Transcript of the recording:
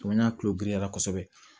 Ko n'a kulodirila kosɛbɛ